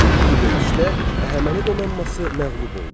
Bu döyüşdə Əhəməni donanması məğlub oldu.